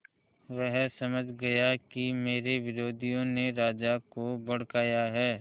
वह समझ गया कि मेरे विरोधियों ने राजा को भड़काया है